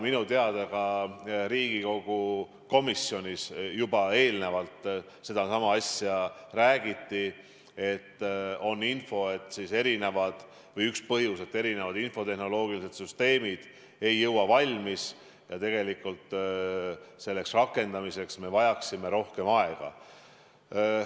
Minu teada ka Riigikogu komisjonis sellest eelnevalt räägiti, et erinevatel põhjustel infotehnoloogilised süsteemid ei saa õigeks ajaks valmis ja seaduse rakendamiseks me vajaksime rohkem aega.